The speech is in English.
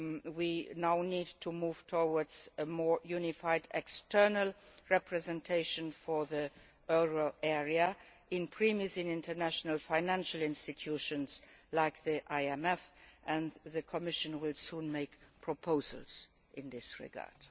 We now need to move towards a more unified external representation of the euro area in international financial institutions like the IMF, and the Commission will soon make proposals in this regard.